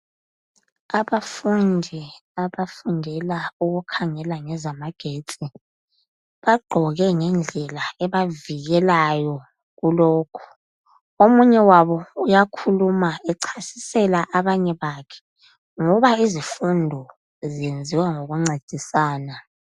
Abafundi abafundela ukukhangela ngezamagetsi bagqoke ngendlela ebavikelayo kulokhu. Omunye wabo uyakhuluma echasisela abanye bakhe ngoba izifundo zenziwa ngokuncedisana.